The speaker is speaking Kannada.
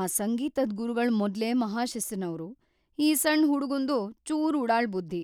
ಆ ಸಂಗೀತದ್ ಗುರುಗಳ್‌ ಮೊದ್ಲೇ ಮಹಾಶಿಸ್ತಿನವ್ರು, ಈ ಸಣ್ ಹುಡುಗುಂದು ಚೂರು ಉಡಾಳ್‌ ಬುದ್ಧಿ,